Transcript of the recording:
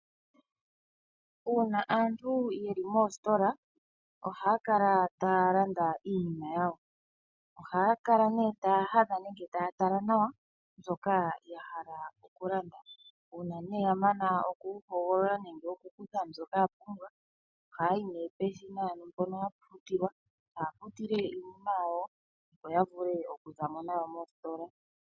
Uuna aantu ye li moostola ohaya kala taya landa iinima yawo. Ohaya kala nee taya hadha nenge taya tala nawa shoka ya hala okulanda, uuna ya mana okuhogolola nenge okukutha mbyoka ya pumbwa, ohaya yi peshina, ano mpono hapu futilwa taya futile iinima yawo opo ya vule okuza mo nayo mositola.